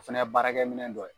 O fɛnɛ ye baarakɛ minɛn dɔ ye.